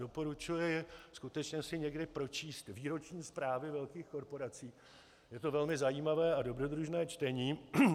Doporučuji skutečně si někdy pročíst výroční zprávy velkých korporací, je to velmi zajímavé a dobrodružné čtení.